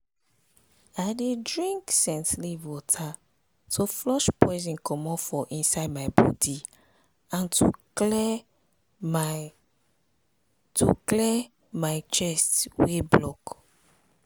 i dey drink scent leaf water to flush poison comot for inside my body and to clear my to clear my chest wey block.